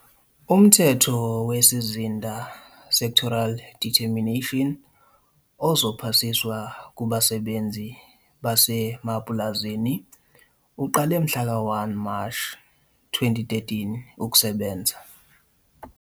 Umthetho wesizinda, sectoral determination, ozophasiswa kubasebenzi basemapulazini uqale mhlaka-1 Mashi 2013 ukusebenza.